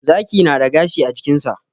Zaki na da gashi a jikinsa.